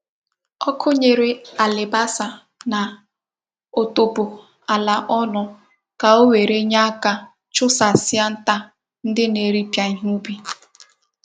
Ọkụnyere alibasa na otubo ala ọnụ ka o were nye aka chu sa sia nta ndi na eri pịa ihe ubi